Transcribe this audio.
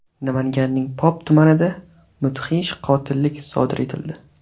Namanganning Pop tumanida mudhish qotillik sodir etildi.